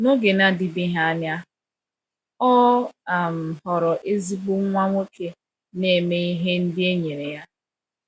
N’oge na-adịbeghị anya, ọ um ghọrọ ezigbo nwa nwoke na-eme ihe ndị e nyere ya.